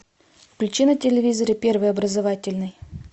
включи на телевизоре первый образовательный